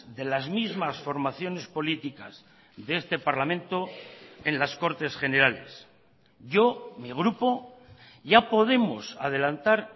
de las mismas formaciones políticas de este parlamento en las cortes generales yo mi grupo ya podemos adelantar